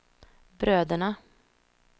bröderna